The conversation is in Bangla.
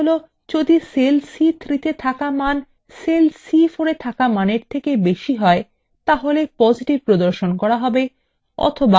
এর means cell যদি cell c3 –তে থাকা মান cell c4 –এর থাকা মানের থেকে অনেক বেশী হয় তাহলে positive প্রদর্শন করা হবে